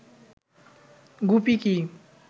গুপি কি